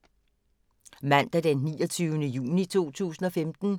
Mandag d. 29. juni 2015